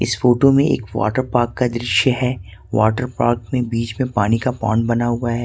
इस फोटो में एक वाटर पार्क का दृश्य है वाटर पार्क में बीच में एक पोंड बना हुआ है।